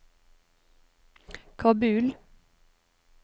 Kabul